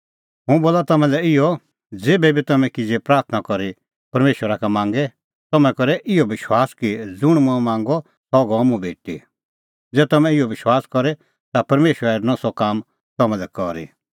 हुंह बोला तम्हां लै इहअ ज़ेभै बी तम्हैं किज़ै प्राथणां करी परमेशरा का मांगे तम्हैं करै इहअ विश्वास कि ज़ुंण मंऐं मांगअ सह गअ मुंह भेटी ज़ै तम्हैं इहअ विश्वास करे ता परमेशरा हेरनअ सह काम तम्हां लै करी